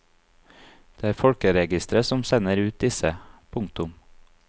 Det er folkeregisteret som sender ut disse. punktum